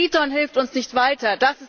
Triton hilft uns nicht weiter